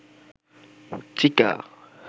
চিকা